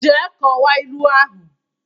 Jee kọwaa ilu ahụ!